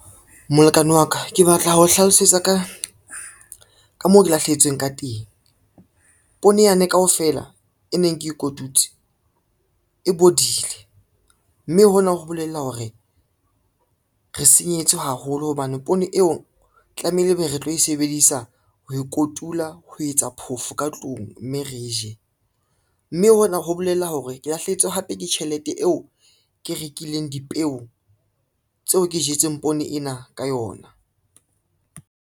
Molekane wa ka, ke batla ho hlalosetsa ka moo ke lahlehetsweng ka teng. Poone yane kaofela e neng ke e kotutseng e bodile, mme hona ho bolela hore re senyehetswe haholo hobane poone eo tlameile ebe re tlo e sebedisa ho e kotula ho etsa phofo ka tlung mme re je, mme hona ho bolela hore ke lahlehetswe hape ke tjhelete eo ke rekileng dipeo tseo ke jetseng poone ena ka yona.